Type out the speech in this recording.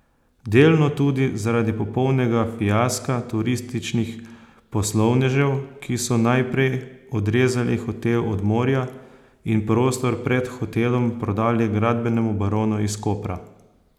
Delno tudi zaradi popolnega fiaska turističnih poslovnežev, ki so najprej odrezali hotel od morja in prostor pred hotelom prodali gradbenemu baronu iz Kopra.